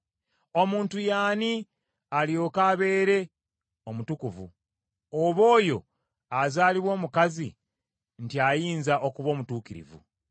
“Omuntu ye ani, alyoke abeere omutukuvu, oba oyo azaalibwa omukazi nti ayinza okuba omutuukirivu?